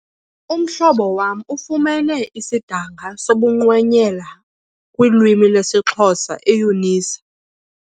Umhlobo wam ufumene isidanga sobungqwenyela kulwimi lwesiXhosa eUnisa.